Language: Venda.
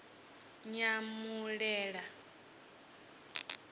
nyamulila